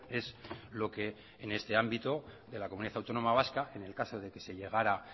es lo que en ese ámbito de la comunidad autónoma vasca en el caso de que se llegara